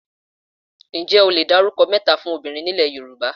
Ǹjẹ́ o le dárúkọ mẹ́ta fún obìnrin ni ilé Yorùbá?